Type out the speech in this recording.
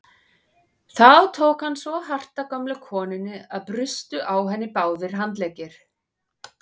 Þá tók hann svo hart á gömlu konunni að brustu á henni báðir handleggir.